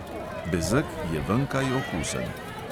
Bezeg je venkaj okusen.